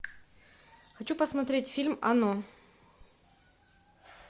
хочу посмотреть фильм оно